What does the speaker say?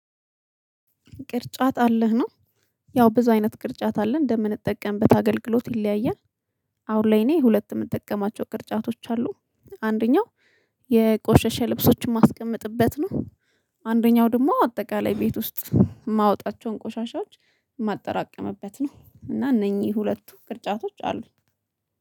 ቅርጫት አለህ ነው ያው ብዙ አይነት ቅርጫት አለን እንደምንጠቀምበት አገልግሎት ይለያያል። አሁን ላይ እኔ ሁለት የምጠቀማቸው ቅርጫቶች አሉ። አንደኛው የቆሸሸ ልብሶችን ማስቀመጥበት ነው። አንደኛው ደግሞ አጠቃላይ ቤት ውስጥ ማወጣቸውን ቆሻሻዎች ማጠራቅምበት ነው እና እነኚህ ሁለቱ ቅርጫቶች አሉኝ